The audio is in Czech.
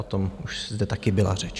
O tom už zde taky byla řeč.